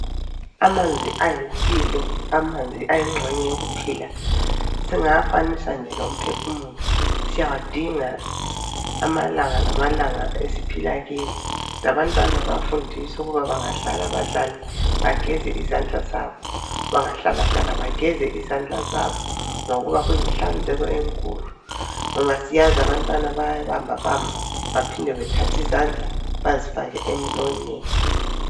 Amanzi ayimpilo, amanzi ayinxenye yokuphila, singawafanisa nje lomphefumulo. Siyawadinga amalanga lamalanga esiphila kiwo. Labantwana bayafundiswa ukuba bangadlala badlale, bageze izandla zabo, bangahlala hlala bageze izandla zabo ngoba kuyinhlanzeko enkulu. Ngoba siyazi abantwana bayabamba bamba baphinde bathathe izandla bazifake emlonyeni.